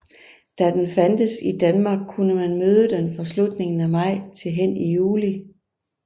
Da den fandtes i Danmark kunne man møde den fra slutningen af maj til hen i juli